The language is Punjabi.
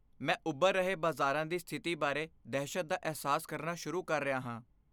ਮੈਂ ਉੱਭਰ ਰਹੇ ਬਾਜ਼ਾਰਾਂ ਦੀ ਸਥਿਤੀ ਬਾਰੇ ਦਹਿਸ਼ਤ ਦਾ ਅਹਿਸਾਸ ਕਰਨਾ ਸ਼ੁਰੂ ਕਰ ਰਿਹਾ ਹਾਂ।